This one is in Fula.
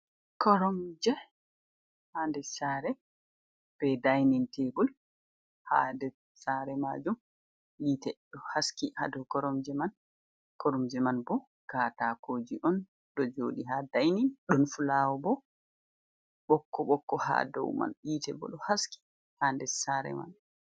Koromje ha nder sare be dainin tebol ha nder sare majum yitte ɗo haski ha dou koromje man bo katakoji on ɗo joɗi ha dainin ɗon fulawo bo ɓokko ɓokko ha dou man yiete ɓo ɗo haski ha nder sare man.